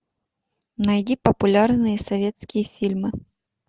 найди популярные советские фильмы